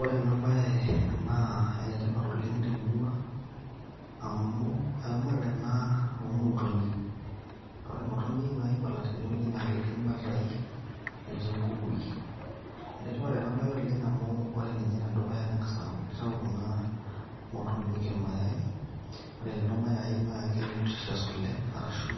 Ore ena bae naa enetipat oleng' temurua, amu eramatare ena omotonyik. Na ore motonyi naibala tenewueji na ketii ibatai, netii nkukui. Enetipat ene bae oleng amu ore ninye enedukuya neng'asa aku kitau kuna motinyik irmayai, ore lelo mayai na ke nutritious oleng',arashu